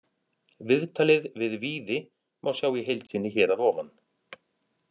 Viðtalið við Víði má sjá í heild sinni hér að ofan.